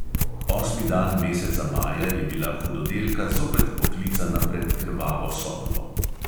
Osmi dan meseca maja je bila hudodelka zopet poklicana pred krvavo sodbo.